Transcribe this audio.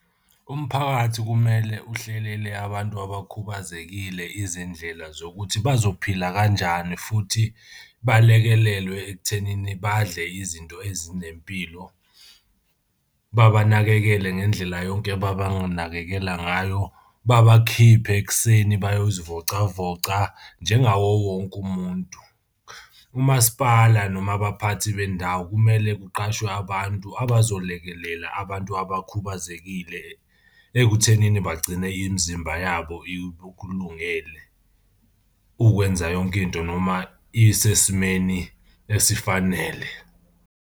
Umphakathi kumele uhlelele abantu abakhubazekile izindlela zokuthi bazophila kanjani futhi balekelelwe ekuthenini badle izinto ezinempilo. Babanakekele ngendlela yonke ababanganakekela ngayo. Babakhiphe ekuseni bayozivocavoca njengawo wonke umuntu. Umasipala noma abaphathi bendawo kumele kuqashwe bantu abazolekelela abantu abakhubazekile ekuthenini bagcine imizimba yabo ikulungele ukwenza yonke into noma isesimeni esifanele.